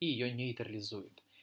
и её нейтрализует